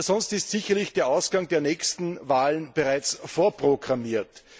Sonst ist sicher der Ausgang der nächsten Wahlen bereits vorprogrammiert.